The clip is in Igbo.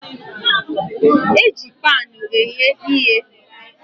Eji pan eghe ihe.